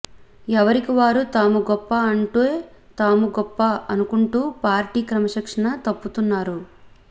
ఎవరికి వారు తాము గొప్ప అంటే తాము గొప్ప అనుకుంటూ పార్టీ క్రమశిక్షణ తప్పుతున్నారు